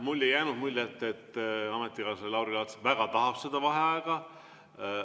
Mulle ei jäänud muljet, et ametikaaslane Lauri Laats väga tahab seda vaheaega.